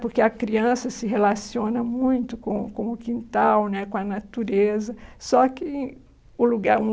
porque a criança se relaciona muito com com o quintal, com a natureza, só que o lugar é um